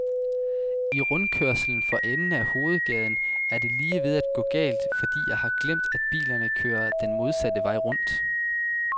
I rundkørslen for enden af hovedgaden er det lige ved at gå galt, fordi jeg har glemt, at bilerne kører den modsatte vej rundt.